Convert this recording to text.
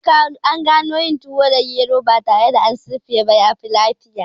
An gano yin tuwo da gero ba tare da an sirfa ba yafi lafiya